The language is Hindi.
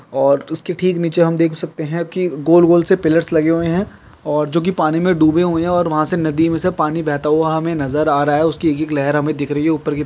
और उसके ठीक नीचे हम देख सकते है की गोल गोल से पिलर लगे हुए है और जो की पानी मे दुबे हुए है और वहा से नदी मे से पानी बेहता हुआ हमे नजर आ रहा है उसकी एक एक लेहर हमे दिख रही है उपेर की।